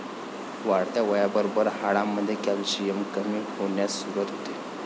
वाढत्या वयाबरोबर हाडांमध्ये कॅल्शियम कमी होण्यास सुरुवात होते.